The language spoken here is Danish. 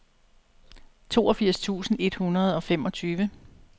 toogfirs tusind et hundrede og femogtyve